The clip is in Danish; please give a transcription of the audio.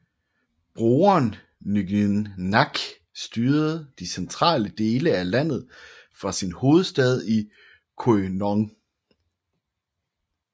Broren Nguyễn Nhạc styrede de centrale dele af landet fra sin hovedstad i Quy Nhon